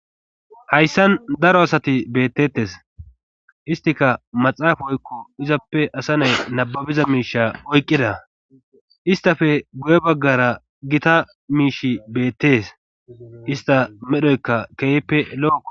Hayssan daro asati beettettes istika maxaafa oykko izappe asa nay nababiza miisha oyqqida istafe guye baggara gita miishi beettes ista medhoyka keeyppe lo7oko.